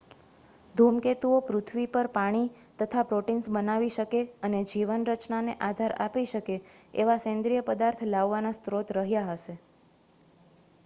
ધૂમકેતુઓ પૃથ્વી પર પાણી તથા પ્રોટીન્સ બનાવી શકે અને જીવન રચનાને આધાર આપી શકે એવા સેન્દ્રીય પદાર્થ લાવવાના સ્ત્રોત રહ્યા હશે